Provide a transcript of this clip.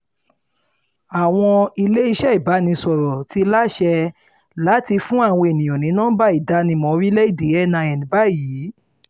àwọn iléeṣẹ́ ìbánisọ̀rọ̀ ti láṣẹ láti fún àwọn èèyàn ní nọmba ìdánimọ̀ orílẹ̀‐èdè nin báyìí